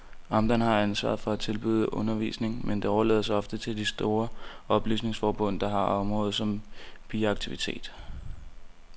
Amterne har ansvaret for at tilbyde undervisning, men det overlades ofte til de store oplysningsforbund, der har området som biaktivitet.